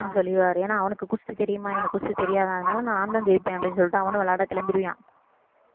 ஹம் சொல்லிருவாரு ஏன்னா அவனுக்கு குஸ்தி தெரியுமா இவனுக்கு குஸ்தி தெரியாது அதனால நான்தான் ஜெயிப்பேன் அப்படின்னு சொல்லிட்டு அவனும் விளையாட கிளம்பிருவியான்